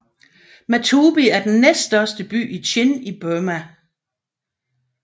Matupi er den næststørste by i Chin i Burma